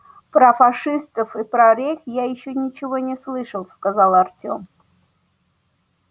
про фашистов и про рейх я ещё ничего не слышал сказал артём